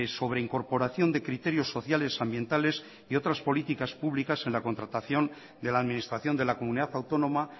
sobre incorporación de criterios sociales ambientales y otras políticas públicas en la contratación de la administración de la comunidad autónoma